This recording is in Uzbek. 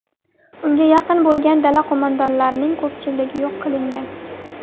Unga yaqin bo‘lgan dala qo‘mondonlarining ko‘pchiligi yo‘q qilingan.